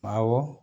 Awɔ